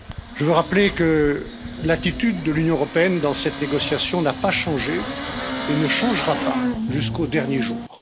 Je veux rappeler que l'attitude de l'Union européenne dans cette négociation n'a pas changé et ne changera pas jusqu'au dernier jour.